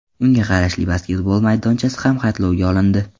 Unga qarashli basketbol maydonchasi ham xatlovga olindi.